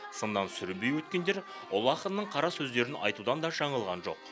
сыннан сүрінбей өткендер ұлы ақынның қарасөздерін айтудан да жаңылған жоқ